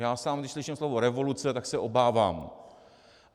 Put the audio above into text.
Já sám když slyším slovo revoluce, tak se obávám.